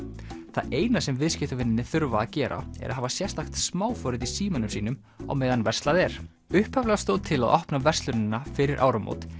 það eina sem viðskiptavinirnir þurfa að gera er að hafa sérstakt smáforrit í símanum sínum á meðan verslað er upphaflega stóð til að opna verslunina fyrir áramót